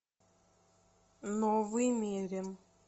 новый мерин